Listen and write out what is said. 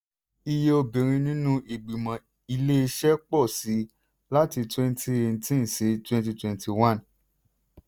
iye obìnrin nínú ìgbìmọ̀ iléeṣẹ́ pọ̀ sí i láti twenty eighteen sí twenty twenty one.